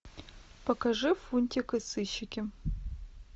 покажи фунтик и сыщики